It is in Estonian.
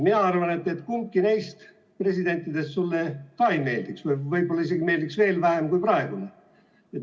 Mina arvan, et kumbki neist presidentidest sulle ka ei meeldiks, võib-olla meeldiks isegi veel vähem kui praegune.